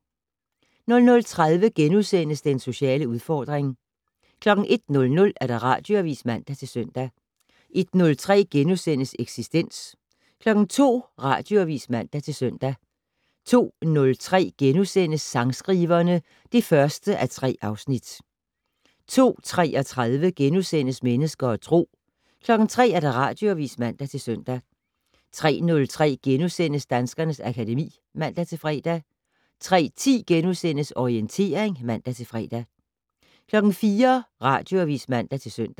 00:30: Den sociale udfordring * 01:00: Radioavis (man-søn) 01:03: Eksistens * 02:00: Radioavis (man-søn) 02:03: Sangskriverne (1:3)* 02:33: Mennesker og Tro * 03:00: Radioavis (man-søn) 03:03: Danskernes akademi *(man-fre) 03:10: Orientering *(man-fre) 04:00: Radioavis (man-søn)